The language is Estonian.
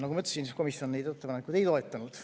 Nagu ma ütlesin, komisjon neid ettepanekuid ei toetanud.